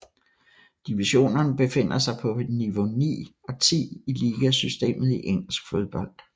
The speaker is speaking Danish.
Divisionerne befinder sig på niveau 9 og 10 i ligasystemet i engelsk fodbold